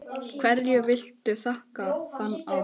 Hverju viltu þakka þann árangur?